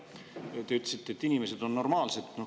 Te ütlesite, et inimesed on normaalsed.